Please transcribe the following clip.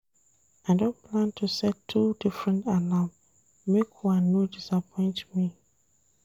I don plan to set two different alarm make one no disappoint me.